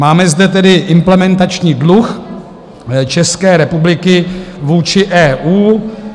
Máme zde tedy implementační dluh České republiky vůči EU.